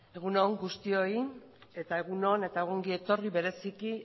zurea da hitza eskerrik asko egun on guztioi eta egun on eta ongi etorri bereziki